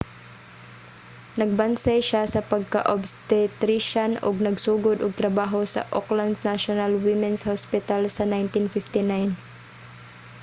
nagbansay siya sa pagka-obstetrician ug nagsugod og trabaho sa auckland's national women's hospital sa 1959